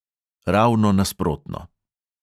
Ravno nasprotno.